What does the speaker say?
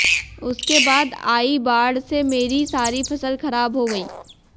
उसके बाद आई बाढ़ से मेरी सारी फसल खराब हो गई